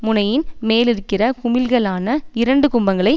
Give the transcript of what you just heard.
முனையின் மேலிருக்கிற குமிழ்களான இரண்டு கும்பங்களை